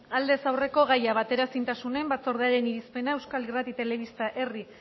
aldez aurreko gaia bateraezintasunen batzordearekin irizpena euskal irrati telebista herri